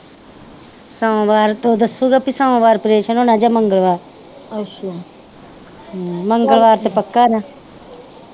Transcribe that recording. ਸੋਮਵਾਰ ਤੋਂ ਉਹ ਦਸੁਗਾ ਪੀ ਸੋਮਵਾਰ ਅਪਰੇਸ਼ਨ ਹੋਣਾ ਜਾ ਮੰਗਲਵਾਰ ਮੰਗਲਵਾਰ ਤੇ ਪੱਕਾ ਨਾ